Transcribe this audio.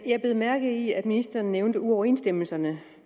jeg bed mærke i at ministeren nævnte uoverensstemmelserne